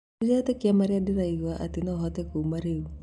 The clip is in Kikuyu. "Ndiretĩkia marĩa ndĩraigwa atĩ nohote kuma rĩu